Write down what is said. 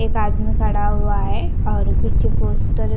एक आदमी खड़ा हुआ है और पीछे पोस्टर .